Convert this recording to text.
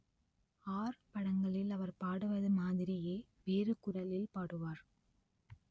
R படங்களில் அவர் பாடுவது மாதிரியே வேறு குரலில் பாடுவார்